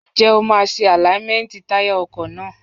Ǹjẹ́ o máa ṣe àláímẹ́ntì táyà ọkọ̀ náà?